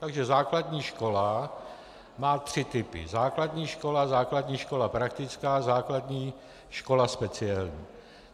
Takže základní škola má tři typy - základní škola, základní škola praktická, základní škola speciální.